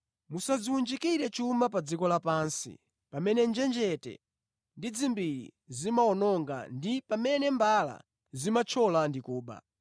“Musadziwunjikire chuma pa dziko lapansi, pamene njenjete ndi dzimbiri zimawononga ndi pamene mbala zimathyola ndi kuba.